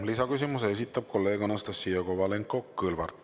Lisaküsimuse esitab kolleeg Anastassia Kovalenko-Kõlvart.